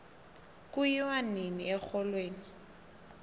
kuyiwo nini exholweni